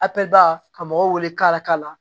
Ape ba ka mɔgɔw wele ka lakali